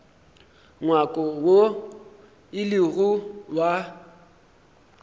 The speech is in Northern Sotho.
ngwako woo e lego wa